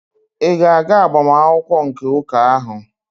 Ị ga-aga agbamakwụkwọ nke ụka ahụ?